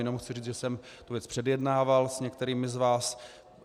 Jenom chci říct, že jsem tu věc předjednával s některými z vás.